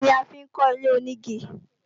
Igi ni a fi ń kọ́ ilé-onígi